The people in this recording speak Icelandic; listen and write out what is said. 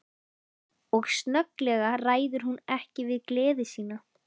Og snögglega ræður hún ekki við gleði sína.